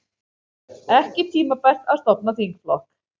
Ekki tímabært að stofna þingflokk